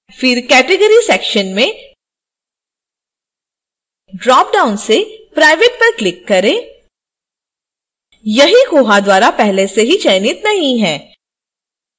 फिर category section में dropdown से private पर click करें यहि koha द्वारा पहले से ही चयनित नहीं है